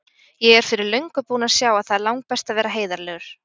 Ég er fyrir löngu búin að sjá að það er langbest að vera heiðarlegur.